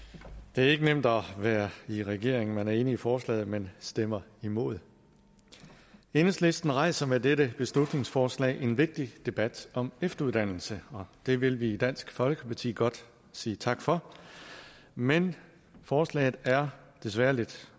det er ikke nemt at være i regering man er enig i forslaget men stemmer imod enhedslisten rejser med dette beslutningsforslag en vigtig debat om efteruddannelse og det vil vi i dansk folkeparti godt sige tak for men forslaget er desværre lidt